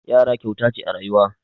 Yara kyauta ce a rayuwa.